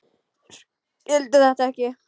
Skildi þetta ekki.